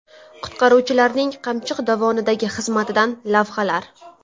Qutqaruvchilarning Qamchiq dovonidagi xizmatidan lavhalar .